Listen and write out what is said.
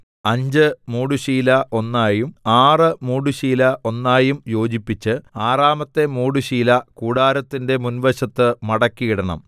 അഞ്ച് മൂടുശീല ഒന്നായും ആറ് മൂടുശീല ഒന്നായും യോജിപ്പിച്ച് ആറാമത്തെ മൂടുശീല കൂടാരത്തിന്റെ മുൻവശത്ത് മടക്കി ഇടണം